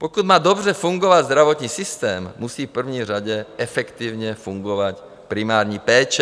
Pokud má dobře fungovat zdravotní systém, musí v první řadě efektivně fungovat primární péče.